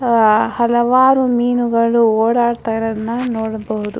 ಅಹ್ ಅಹ್ ಹಲವಾರು ಮೀನುಗಳು ಓಡಾಡುತ್ತಿರುವುದನ್ನ ನೋಡಬಹುದು .